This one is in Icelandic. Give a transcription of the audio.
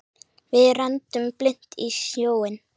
Við renndum blint í sjóinn.